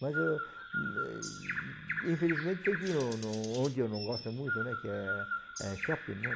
Mas eu, infelizmente, tem que ir no no onde eu não gosto muito, né, que é shopping, né.